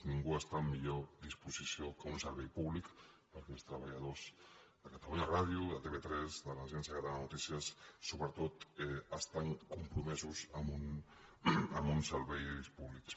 ningú està en millor disposició que un servei públic perquè els treballadors de catalunya ràdio de tv3 de l’agència catalana de notícies sobretot estan compromesos amb uns serveis públics